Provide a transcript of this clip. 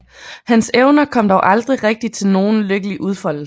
Hans evner kom dog aldrig rigtig til nogen lykkelig udfoldelse